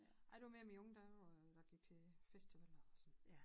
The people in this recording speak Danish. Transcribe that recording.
Ej det var mere i mine unge dage hvor jeg gik til festivaler og sådan